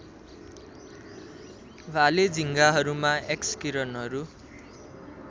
भाले झिँगाहरूमा एक्सकिरणहरू